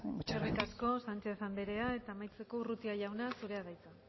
muchas gracias eskerrik asko sánchez andrea eta amaitzeko urrutia jauna zurea da hitza